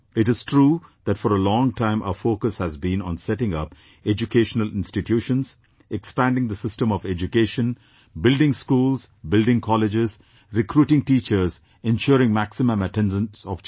It is true that for a long time our focus has been on setting up educational institutions, expanding the system of education, building schools, building colleges, recruiting teachers, ensuring maximum attendance of children